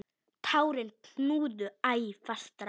Tárin knúðu æ fastar á.